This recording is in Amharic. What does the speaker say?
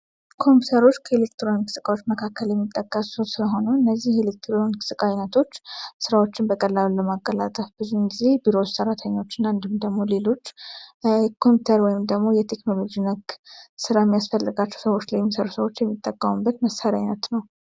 ኮምፕውተሪች ከኤሌክትሮንክስ እቃዎች መካከል የሚጠቀሱ ሲሆኑ እነዚህ ኤሌክትሮንክስ እቃ አይነቶች ሥራዎችን በቀላሉ ለማቀላጠፍ ብዙን ጊዜ ቢሮ ውስጥ ሰራተኞች እና እንዲሁም ደግሞ ሌሎች ኮምፕውተር ወይም ደግሞ የቴክኖሎጂ ነክ ሥራ ሚያስፈለጋቸው ሰዎች ሰዎችን የሚጠቀሙበት መሣርያ አይነት ነው።